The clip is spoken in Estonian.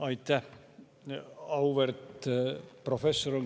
Aitäh!